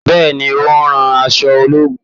Bẹ́ẹ̀ni, ó ń rán aṣọ ológun.